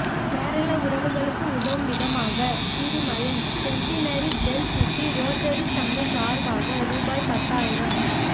கேரள உறவுகளுக்கு உதவும் விதமாக Thirumayam centenary bell city Rotary சங்கம் சார்பாக ரூபாய் பத்தாயிரம்